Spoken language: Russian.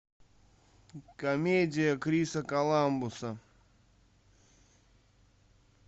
комедия криса коламбуса